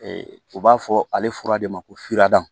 u b'a fɔ ale fura de ma ko furad